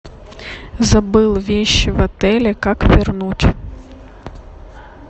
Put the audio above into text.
забыл вещи в отеле как вернуть